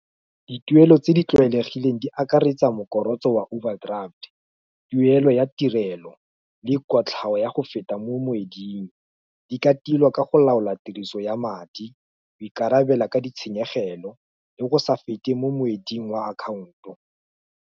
Dituelo tse di tlwaelegileng di akaretsa mokorotso wa overdraft, tuelo ya tirelo, le kotlhao ya go feta mo moeding, di ka tilwa ka go laola tiriso ya madi, go ikarabela ka ditshenyegelo, le go sa fete mo moeding wa akhaonto.